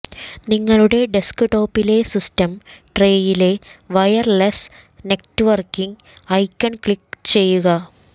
നിങ്ങളുടെ ഡെസ്ക്ടോപ്പിലെ സിസ്റ്റം ട്രേയിലെ വയർലെസ്സ് നെറ്റ്വർക്കിങ് ഐക്കൺ ക്ലിക്ക് ചെയ്യുക